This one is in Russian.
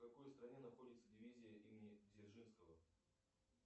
в какой стране находится дивизия имени дзержинского